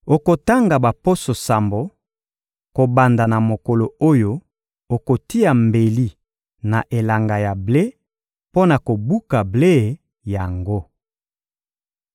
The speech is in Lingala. Okotanga baposo sambo, kobanda na mokolo oyo okotia mbeli na elanga ya ble mpo na kobuka ble yango.